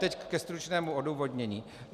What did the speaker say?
Teď ke stručnému odůvodnění.